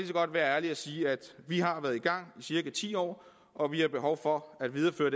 godt være ærlig at sige at vi har været i gang i cirka ti år og vi har behov for at videreføre